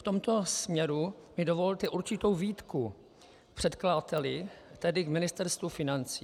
V tomto směru mi dovolte určitou výtku předkladateli, tedy k Ministerstvu financí.